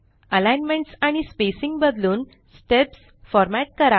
alignments आणि spacing बदलून steps format करा